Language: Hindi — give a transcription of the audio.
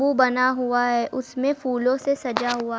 बना हुआ है उसमें फूलों से सजा हुआ--